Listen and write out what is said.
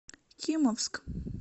кимовск